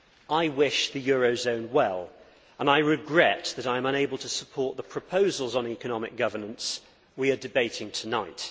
I wish the euro zone well and I regret that I am unable to support the proposals on economic governance we are debating tonight.